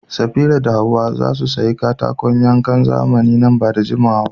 Safira da Hawwa za su sayi katakon yankan zamani nan ba da jimawa ba.